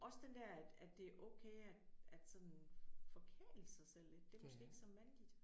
Også den der at at det er okay at at sådan forkæle sig selv lidt det er måske ikke så mandigt